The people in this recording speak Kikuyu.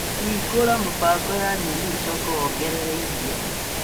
Hingũra mĩbango ya nyeni ũcoke wongerere iria.